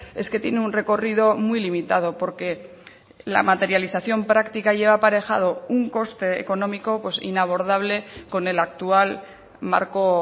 es que tiene un recorrido muy limitado porque la materialización práctica lleva aparejado un coste económico inabordable con el actual marco